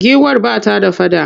Giwar ba ta da faɗa.